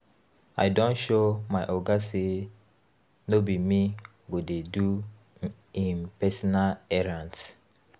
I don show my oga sey no be me go dey do im personal errands.